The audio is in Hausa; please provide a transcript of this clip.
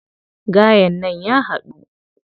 Gayen nan ya haɗu.